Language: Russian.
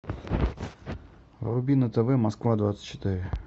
вруби на тв москва двадцать четыре